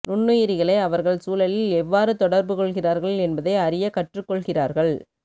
நுண்ணுயிரிகளை அவர்கள் சூழலில் எவ்வாறு தொடர்பு கொள்கிறார்கள் என்பதை அறிய கற்றுக்கொள்கிறார்கள்